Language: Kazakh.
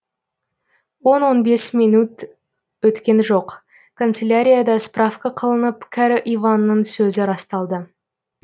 он он бес минут өткен жоқ канцелярияда справка қылынып кәрі иванның сөзі расталды